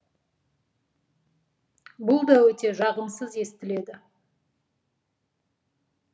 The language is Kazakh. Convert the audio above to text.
бұл да өте жағымсыз естіледі